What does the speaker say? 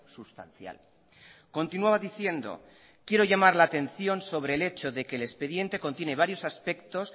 sustancial continuaba diciendo quiero llamar la atención sobre el hecho de que el expediente contiene varios aspectos